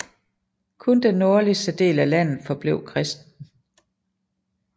Kun den nordligste del af landet forblev kristent